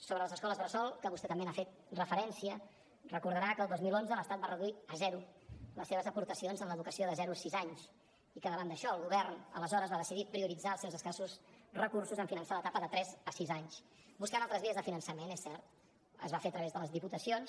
sobre les escoles bressol que vostè també hi ha fet referència deu recordar que el dos mil onze l’estat va reduir a zero les seves aportacions en l’educació de zero a sis anys i que davant d’això el govern aleshores va decidir prioritzar els seus escassos recursos en finançar l’etapa de tres a sis anys buscant altres vies de finançament és cert es va fer a través de les diputacions